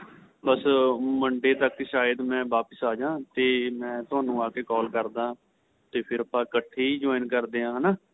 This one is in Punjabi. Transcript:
ਬੱਸ Monday ਤੱਕ ਸ਼ਾਇਦ ਮੈਂ ਵਾਪਿਸ ਆਜਾ ਤੇ ਤੁਹਾਨੂੰ ਆਕੇ call ਕਰਦਾ ਤੇ ਫ਼ੇਰ ਆਪਾਂ ਇੱਕਠੇ ਹੀ join ਕਰਦੇ ਆਂ ਹੈਨਾ